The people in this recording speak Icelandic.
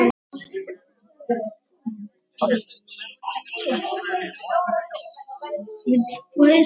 Blessuð sé minning Tómasar Árna.